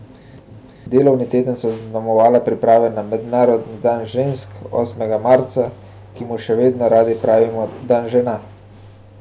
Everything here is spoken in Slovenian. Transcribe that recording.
Delovni teden so zaznamovale priprave na mednarodni dan žensk osmega marca, ki mu še vedno radi pravimo dan žena.